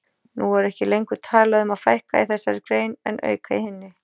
Nú er ekki lengur talað um að fækka í þessari grein en auka í hinni.